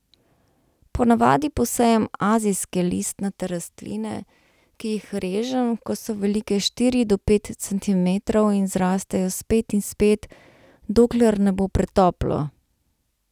Ponavadi posejem azijske listnate rastline, ki jih režem, ko so velike štiri do pet centimetrov, in zrastejo spet in spet, dokler ne bo pretoplo!